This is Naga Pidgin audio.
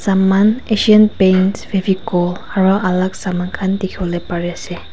Saman Asian paints fevicol aro alak saman khan dekhevole pare ase.